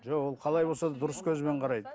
жоқ ол қалай болса да дұрыс көзбен қарайды